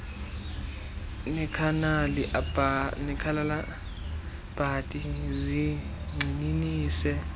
nekhanali bhanti zigxininise